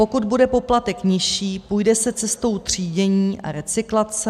Pokud bude poplatek nižší, půjde se cestou třídění a recyklace.